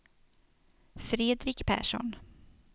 Fredrik Persson